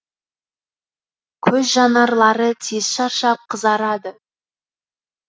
көз жанарлары тез шаршап қызарады